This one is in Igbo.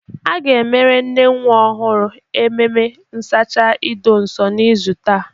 A ga-emere nne nwa ọhụrụ a ememe nsacha ido nso n'izu taa.